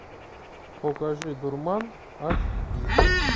покажи дурман аш ди